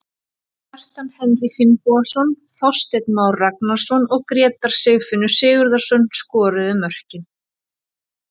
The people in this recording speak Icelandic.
Kjartan Henry Finnbogason, Þorsteinn Már Ragnarsson og Grétar Sigfinnur Sigurðarson skoruðu mörkin.